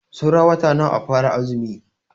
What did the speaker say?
Saura wata nawa a fara azumi?